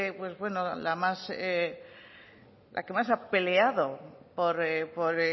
fue la que más ha peleado por